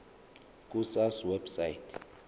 ku sars website